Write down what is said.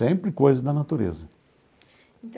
Sempre coisas da natureza.